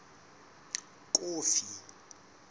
kofi